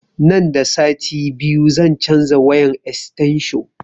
Nan da sati biyu zan canza wayan estensho